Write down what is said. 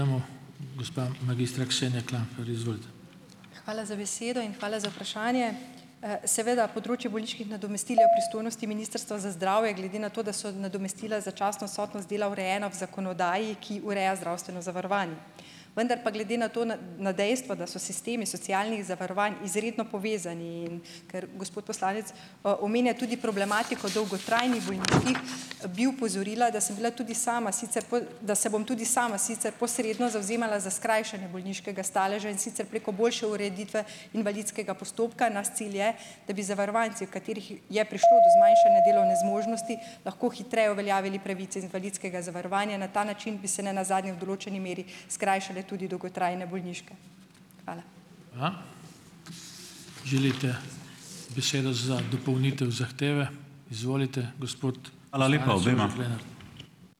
Hvala za besedo in hvala za vprašanje. Seveda področje bolniških nadomestil je v pristojnosti Ministrstva za zdravje, glede na to, da so nadomestila začasno odsotnost dela urejena ob zakonodaji, ki ureja zdravstveno zavarovanje. Vendar pa glede na to na dejstva, da so sistemi socialnih zavarovanj izredno povezani, in ker gospod poslanec omenja tudi problematiko dolgotrajnih bolniških, bi opozorila, da sem bila tudi sama sicer da se bom tudi sama sicer posredno zavzemala za skrajšanje bolniškega staleža, in sicer preko boljše ureditve invalidskega postopka. Naš cilj je, da bi zavarovanci, v katerih je prišlo do zmanjšanja delovne zmožnosti lahko hitreje uveljavili pravice z invalidskega zavarovanja. Na ta način bi se ne nazadnje v določeni meri skrajšale tudi dolgotrajne bolniške. Hvala.